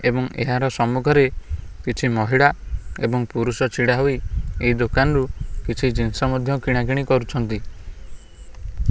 ଏବଂ ଏହାର ସମ୍ମୁଖରେ କିଛି ମହିଳା ଓ ପୁରୁଷ ଛିଡ଼ା ହୋଇ ଏହି ଦୋକନ ରୁ କିଛି ଜିନିଷ ମଧ୍ୟ କିଣା କିଣି କରୁଛନ୍ତି।